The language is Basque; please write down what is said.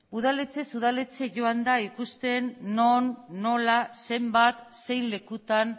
udaletxez udaletxe joan da ikusten non nola zenbat zein lekutan